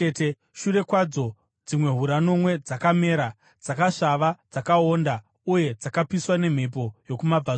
Shure kwadzo dzimwe hura nomwe dzakamera, dzakasvava, dzakaonda uye dzakapiswa nemhepo yokumabvazuva.